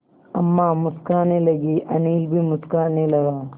अम्मा मुस्कराने लगीं अनिल भी मुस्कराने लगा